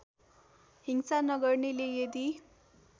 हिंसा नगर्नेले यदि